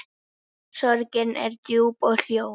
Sorgin er djúp og hljóð.